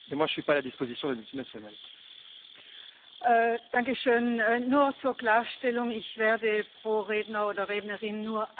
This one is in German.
Nur zur Klarstellung Ich werde pro Redner oder Rednerin nur eine blaue Karte annehmen, weil sonst die Zeitverzögerungen zu groß werden.